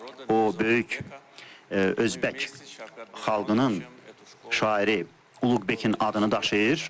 O böyük Özbək xalqının şairi Uluqbəkin adını daşıyır.